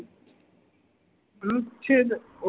અનુચ્છેદ